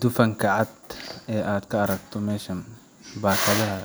Dufanka cad ee aad aragto ee ku jira baakadaha